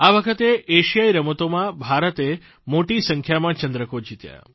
આ વખતે એશિયાઇ રમતોમાં ભારતે મોટી સંખ્યામાં ચંદ્રકો જીત્યા